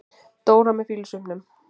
Dóra með fýlusvipnum.